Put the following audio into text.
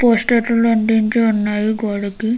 Poster లు అన్ని అంటించి ఉన్నాయి గోడకి.